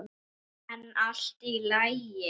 En allt í lagi.